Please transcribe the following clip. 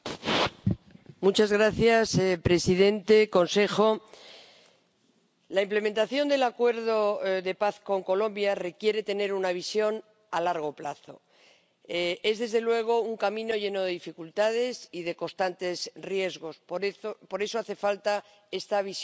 Señor presidente, señora representante del Consejo, la implementación del acuerdo de paz con Colombia requiere tener una visión a largo plazo. Es, desde luego, un camino lleno de dificultades y de constantes riesgos. Por eso, hace falta esta visión y ese horizonte